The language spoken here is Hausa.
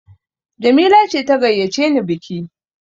Jamila ce ta gayyace ni biki!